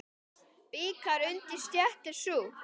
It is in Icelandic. Bikar undir stétt er sú.